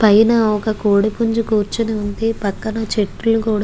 పైన ఒక కుడి పుంజు కురుచొని వుంది పక్కన చేతుల్లు కూడా --